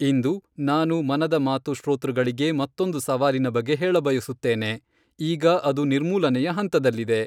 ಇಂದು, ನಾನು ಮನದ ಮಾತು ಶ್ರೋತೃಳಿಗೆ ಮತ್ತೊಂದು ಸವಾಲಿನ ಬಗ್ಗೆ ಹೇಳಬಯಸುತ್ತೇನೆ, ಈಗ ಅದು ನಿರ್ಮೂಲನೆಯ ಹಂತದಲ್ಲಿದೆ.